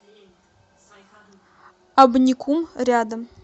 абникум рядом